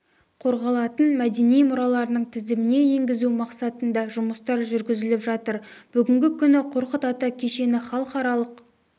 қорғалатын мәдени мұраларының тізіміне енгізу мақсатында жұмыстар жүргізіліп жатыр бүгінгі күні қорқыт ата кешені халықаралық